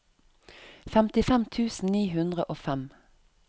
femtifem tusen ni hundre og fem